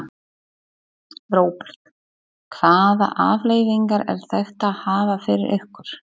Róbert: Hvaða afleiðingar er þetta að hafa fyrir ykkur?